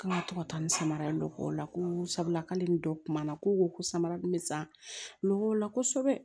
K'an ka to ka taa nin samara dɔ kɔ o la ko sabula k'ale ni dɔ kumana ko ko samara dun bɛ san o la kosɛbɛ